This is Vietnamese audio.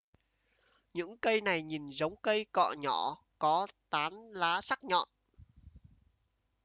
những cây này nhìn giống cây cọ nhỏ có tán lá sắc nhọn